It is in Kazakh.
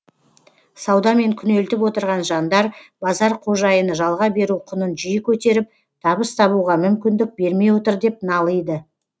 саудамен күнелтіп отырған жандар базар қожайыны жалға беру құнын жиі көтеріп табыс табуға мүмкіндік бермей отыр деп налиды